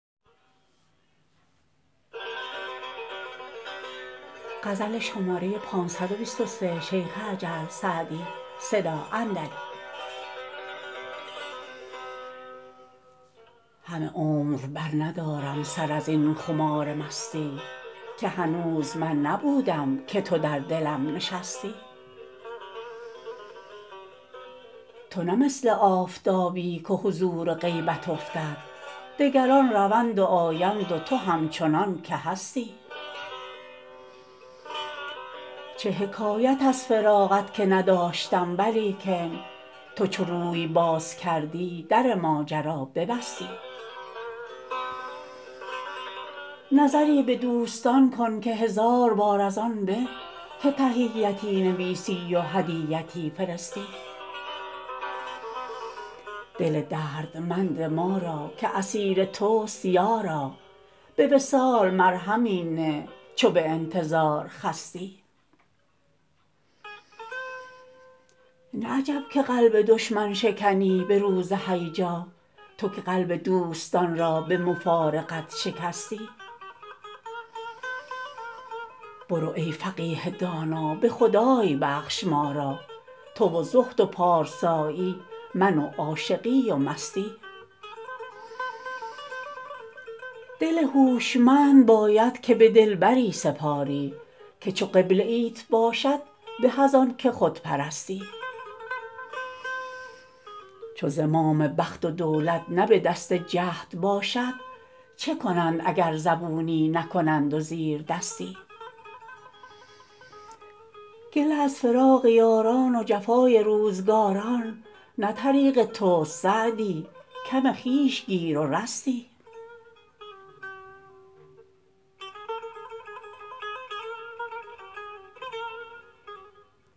همه عمر برندارم سر از این خمار مستی که هنوز من نبودم که تو در دلم نشستی تو نه مثل آفتابی که حضور و غیبت افتد دگران روند و آیند و تو همچنان که هستی چه حکایت از فراقت که نداشتم ولیکن تو چو روی باز کردی در ماجرا ببستی نظری به دوستان کن که هزار بار از آن به که تحیتی نویسی و هدیتی فرستی دل دردمند ما را که اسیر توست یارا به وصال مرهمی نه چو به انتظار خستی نه عجب که قلب دشمن شکنی به روز هیجا تو که قلب دوستان را به مفارقت شکستی برو ای فقیه دانا به خدای بخش ما را تو و زهد و پارسایی من و عاشقی و مستی دل هوشمند باید که به دلبری سپاری که چو قبله ایت باشد به از آن که خود پرستی چو زمام بخت و دولت نه به دست جهد باشد چه کنند اگر زبونی نکنند و زیردستی گله از فراق یاران و جفای روزگاران نه طریق توست سعدی کم خویش گیر و رستی